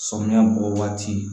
Samiyɛ bɔ waati